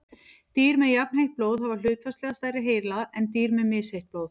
dýr með jafnheitt blóð hafa hlutfallslega stærri heila en dýr með misheitt blóð